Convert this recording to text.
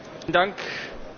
Herr Präsident!